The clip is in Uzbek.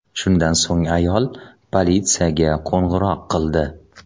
Shundan so‘ng ayol politsiyaga qo‘ng‘iroq qildi.